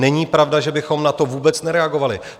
Není pravda, že bychom na to vůbec nereagovali.